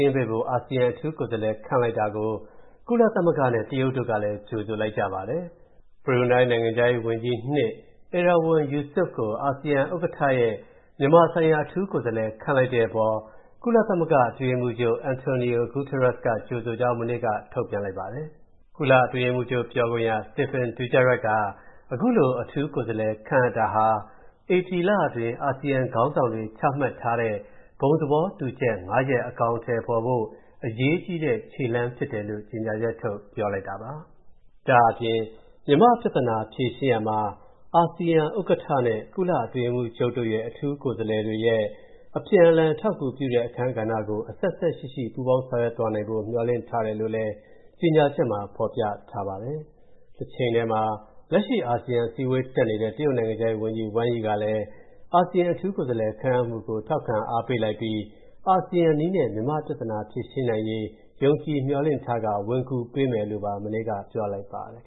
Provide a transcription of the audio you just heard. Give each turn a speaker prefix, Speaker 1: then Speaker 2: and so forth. Speaker 1: င်းပေးဖို့ အာဆီယံ အထူးကိုယ်စားလှယ် ခန့်အပ်လိုက်တာကို ကုလသမဂ္ဂနဲ့ တရုတ်တို့ကလည်း ကြိုဆိုလိုက်ကြပါတယ်။ ဘရူနိုင်း နိုင်ငံခြားရေးဝန်ကြီး (၂) Erywan Yusof ကို အာဆီယံ ဥက္ကဌရဲ့ မြန်မာဆိုင်ရာအထူးကိုယ်စားလှယ်ခန့်လိုက်တဲ့အပေါ် ကုလသမဂ္ဂ အတွင်းရေးမှူးချုပ် António Guterres က ကြိုဆိုကြောင်း မနေ့က ထုတ်ပြန်လိုက်ပါတယ်။ ကုလအတွင်းရေးမှူးချုပ် ပြောခွင့်ရ Stéphane Dujarric က၊ အခုလို အထူးကိုယ်စားလှယ်ခန့်အပ်တာဟာ၊ ဧပြီလတွင်း အာဆီယံခေါင်းဆောင်တွေ ချမှတ်ထားတဲ့ ဘုံသဘောတူချက် ၅ ရပ် အကောင်အထည်ဖော်ဖို့၊ အရေးကြီးတဲ့ ခြေလှမ်း ဖြစ်တယ်လို့ ကြေညာချက် ထုတ်ပြောလိုက်တယ်။ ဒါ့အပြင် မြန်မာ့ပြဿနာ ဖြေရှင်းရာမှာ၊ အာဆီယံဥက္ကဋ္ဌနဲ့ ကုလအတွင်းရေးမှူးချုပ် အထူးကိုယ်စားလှယ်တွေရဲ့ အပြန်အလှန်အထောက်အကူပြုတဲ့အခန်းကဏ္ဍကို၊ အဆက်အစပ်ရှိရှိ ပူးပေါင်း ဆောင်ရွက်သွားဖိ့ မျှော်လင့်ထားတယ်လို့လည်း ကြေညာချက်မှာ ဖော်ပြထားပါတယ်။ တချိန်ထဲမှာ လက်ရှိအာဆီယံအစည်းအဝေးတက်နေတဲ့၊ တရုတ်နိုင်ငံခြားရေးဝန်ကြီး Wang Yi ကလည်း၊ အာဆီယံအထူးကိုယ်စားလှယ်ခန့်အပ်မူကို ထောက်ခံအားပေးလိုက်ပြီး၊ အာဆီယံနည်းနဲ့ မြန်မာ့ပြဿနာဖြေရှင်းနိုင်ရေး ယုံကြည်မျှော်လင့်ထားကာ၊ ဝင်ကူပေးမယ်လို့ မနေ့က ပြောလိုက်ပါတယ်